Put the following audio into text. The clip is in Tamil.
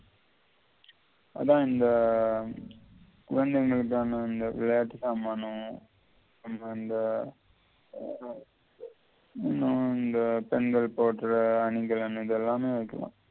அதான் இந்த குழந்தைகளுக்கான அந்த விளையாட்டு சாமானம் அது வந்து இன்னும் இந்த பெண்கள் போட்டற அணிகள் அணிகள் எல்லாமே வெக்கலாம்